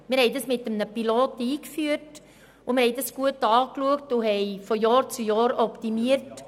Wir hatten diese Betreuung in einem Pilotprojekt eingeführt und von Jahr zu Jahr optimiert.